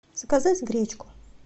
заказать гречку